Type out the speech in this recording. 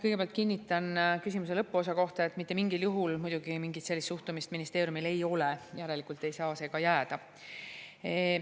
Kõigepealt kinnitan küsimuse lõpuosa kohta, et mitte mingil juhul muidugi mingit sellist suhtumist ministeeriumil ei ole, järelikult ei saa see ka jääda.